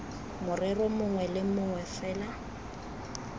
morero mongwe le mongwe fela